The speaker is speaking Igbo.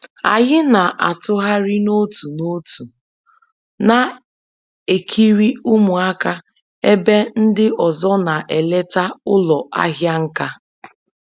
Anyị na-atụgharị n'otu n'otu na-ekiri ụmụaka ebe ndị ọzọ na-eleta ụlọ ahịa nka